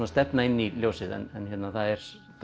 stefna inn í ljósið en það er